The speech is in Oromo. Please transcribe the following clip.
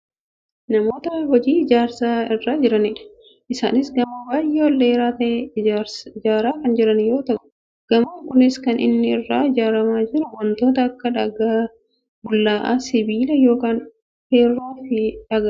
Namoota hojii ijaarsaa irra jiranidha. Isaanis gamoo baayyee ol dheeraa ta'e ijaaraa kan jiran yoo ta'u , gamoon kunis kan inni irraa ijaaramaa jiru wantoota akka; dhagaa bullaa'aa, sibiila yookaan feerroofi dhagaadha.